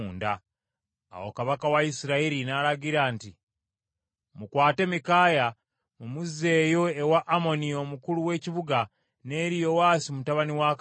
Awo kabaka wa Isirayiri n’alagira nti, “Mukwate Mikaaya, mumuzzeeyo ewa Amoni omukulu w’ekibuga, n’eri Yowaasi mutabani wa kabaka,